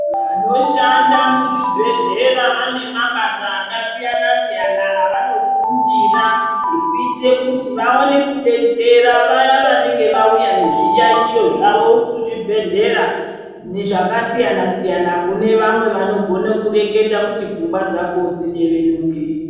Vanhu vanoshanda muzvibhedhlera vane mabasa akasiyana siyana avanofundira ekuitire kuti vaone kubetsera vaya vanenge vauya nezviyayiyo zvavo kuzvibhedhlera zvakasiyana siyana kune vamwe vanogona kureketa kuti pfungwa dzako dziyevenuke.